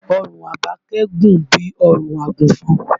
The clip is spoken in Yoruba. Ọrùn Àbákẹ́ gùn bí ọrùn àgùnfọn